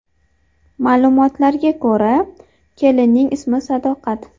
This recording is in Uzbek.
Ma’lumotlarga ko‘ra, kelinning ismi Sadoqat.